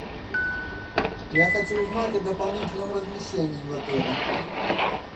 я хочу узнать о дополнительном размещении в отеле